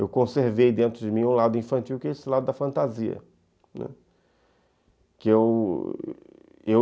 Eu conservei dentro de mim um lado infantil que é esse lado da fantasia, né, que eu